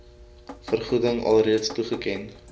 vergoeding alreeds toegeken